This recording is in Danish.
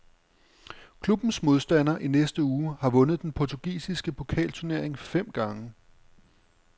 Klubbens modstander i næste uge har vundet den portugisiske pokalturnering fem gange.